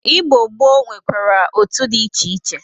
Igbo gboo nwekwara otu dị iche iche.